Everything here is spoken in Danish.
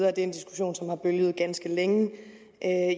er en diskussion som har bølget ganske længe